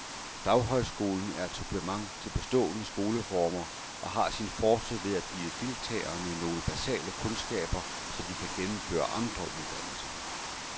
Daghøjskolen er et supplement til bestående skoleformer og har sin force ved at give deltagerne nogle basale kundskaber, så de kan gennemføre andre uddannelser.